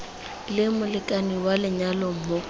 leng molekane wa lenyalo mo